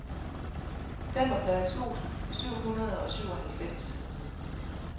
femogfyrre tusind syv hundrede og syvoghalvfems